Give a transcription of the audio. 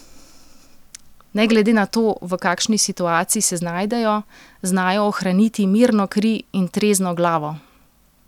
Ne glede na to, v kakšni situaciji se znajdejo, znajo ohraniti mirno kri in trezno glavo.